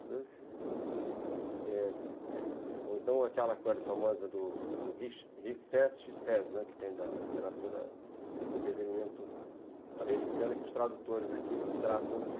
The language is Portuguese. Ou então aquela coisa famosa do, que tem da da literatura de entretenimento americana, que os tradutores aqui tratam de